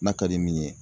N'a ka di min ye